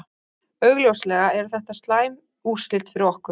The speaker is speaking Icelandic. Augljóslega eru þetta slæm úrslit fyrir okkur.